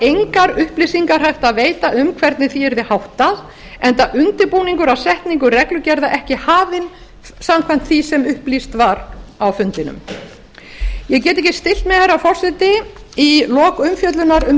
engar upplýsingar hægt að veita um hvernig því yrði háttað enda undirbúningur að setningu reglugerða ekki hafinn samkvæmt því sem upplýst var á fundinum ég get ekki stillt mig herra forseti í lok umfjöllunar um